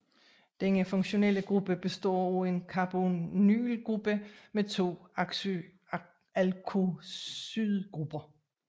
Denne funktionelle gruppe består af en carbonylgruppe med to alkoxygrupper